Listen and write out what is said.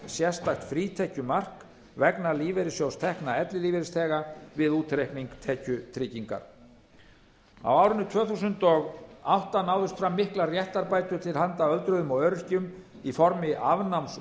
sérstaks frítekjumarks vegna lífeyrissjóðstekna ellilífeyrisþega við útreikning tekjutryggingar á árinu tvö þúsund og átta náðust fram miklar réttarbætur til handa öldruðum og öryrkjum í formi afnáms